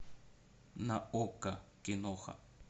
на окко киноха